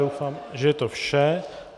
Doufám, že je to vše.